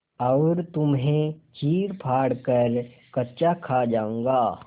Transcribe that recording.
और तुम्हें चीरफाड़ कर कच्चा खा जाऊँगा